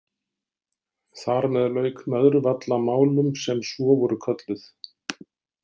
Þar með lauk Möðruvallamálum, sem svo voru kölluð.